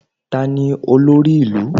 Tani olórí ìlú?